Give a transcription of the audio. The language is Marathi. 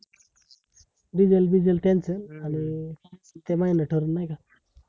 diesel बिझल त्यांच आणि ते महिना ठरउन, नाय का?